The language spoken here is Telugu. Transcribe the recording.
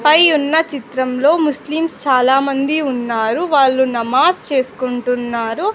పై ఉన్న చిత్రంలో ముస్లిమ్స్ చాలా మంది ఉన్నారు వాళ్ళు నమాజ్ చేస్కుంటున్నారు.